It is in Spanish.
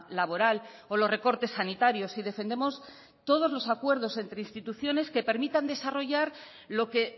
laboral o los recortes sanitarios y defendemos todos los acuerdo entre instituciones que permitan desarrollar lo que